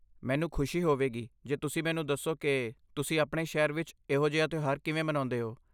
ਮੈਨੂੰ ਖੁਸ਼ੀ ਹੋਵੇਗੀ ਜੇ ਤੁਸੀਂ ਮੈਨੂੰ ਦੱਸੋ ਕਿ ਤੁਸੀਂ ਆਪਣੇ ਸ਼ਹਿਰ ਵਿੱਚ ਇਹੋ ਜਿਹਾ ਤਿਉਹਾਰ ਕਿਵੇਂ ਮਨਾਉਂਦੇ ਹੋ।